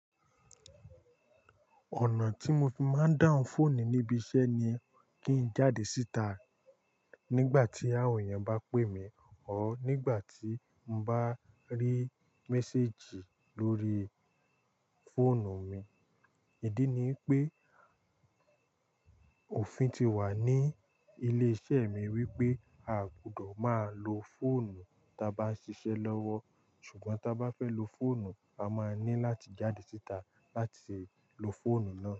Ọ̀nà tí mo fi máa ń dáhùn fóònù níbi iṣẹ́ ni kí n jáde síta nígbà tí àwọn èèyàn bá pè mí o nígbà tí n bá rí méséjì lórí fóònù mi. Ídí ni pé òfin ti wà ní ilé iṣẹ́ mi wípé a kò gbọdọ̀ máa lo fóònù ta bá ń ṣiṣẹ́ lọ́wọ́ ṣùgbọ́n bá fẹ́ lo fóònù, a máa ní láti jáde síta láti ṣe lo fóònù náà.